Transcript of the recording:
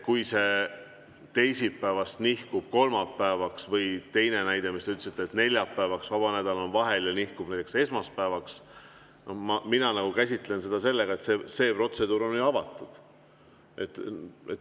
Kui see nihkub teisipäevast kolmapäevale, või teine näide, mis te ütlesite, et neljapäevast, ja vaba nädal on vahel, nihkub näiteks esmaspäevale, siis mina käsitlen seda nii, et see protseduur on ju avatud.